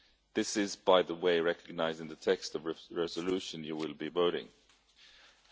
This is, by the way, recognised in the text of the resolution you will be voting on.